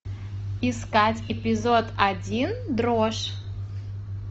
искать эпизод один дрожь